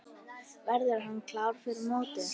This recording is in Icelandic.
Verður hann klár fyrir mót?